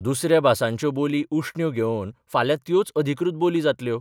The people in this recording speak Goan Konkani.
दुसऱ्या भासांच्यो बोली उश्ण्यो घेवन फाल्यां त्योच अधिकृत बोली जातल्यो.